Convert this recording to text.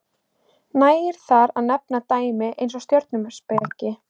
nægir þar að nefna dæmi eins og stjörnuspeki